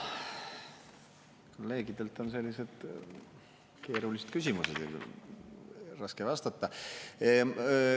Kolleegidelt on sellised keerulised küsimused, raske vastata.